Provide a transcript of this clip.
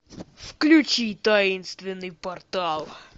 включи таинственный портал